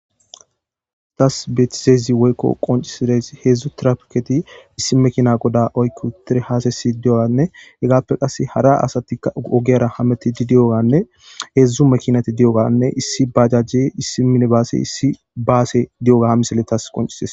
tas betizeezi woykko qoncisides heedzdzu trafketi issi mekina goda oykku tire haasesi di7oanne hegaappe qasse hara asatika ogeyra hameti di di7oganne heedzdzu mekinati di7oganne issi bajajje issi mine baase issi baase di7oga ha miseletas qoncies